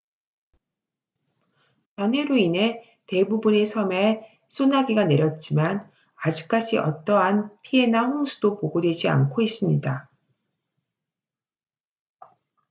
잔해로 인해 대부분의 섬에 소나기가 내렸지만 아직까지 어떠한 피해나 홍수도 보고되지 않고 있습니다